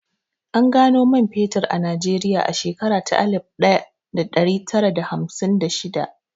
An gano man fetur a Najeriya a shekara ta alif ɗaya da ɗari tara da hamsin da shidda